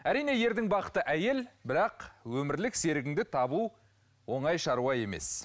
әрине ердің бақыты әйел бірақ өмірлік серігіңді табу оңай шаруа емес